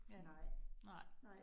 Ja, nej